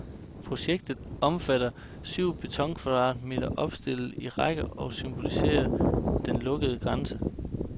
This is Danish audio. Projektet omfatter syv betonkvadrater opstillet i række og symboliserende den lukkede grænse.